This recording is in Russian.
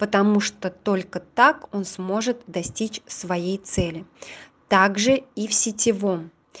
потому что только так он сможет достичь своей цели также и в сетевом